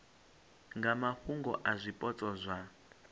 nga mafhungo a zwipotso zwa